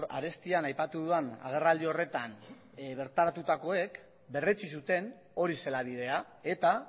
arestian aipatu dudan agerraldi horretan bertaratutakoek berretsi zuten hori zela bidea eta